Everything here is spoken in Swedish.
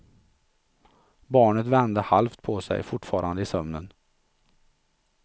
Barnet vände halvt på sig, fortfarande i sömnen.